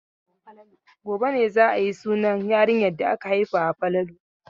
Gobe ne za a yi sunan yarinyar da aka haifawa Falalu.